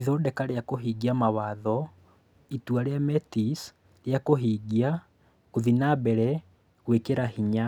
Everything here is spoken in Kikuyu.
Ithondeka rĩa kũhingia mawatho: Itua rĩa Metis rĩa kũhingia:Gũthiĩ na mbere; gwĩkĩra hinya